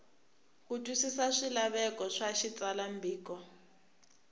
ku twisisa swilaveko swa xitsalwambiko